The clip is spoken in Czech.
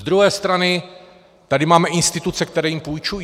Z druhé strany tady máme instituce, které jim půjčují.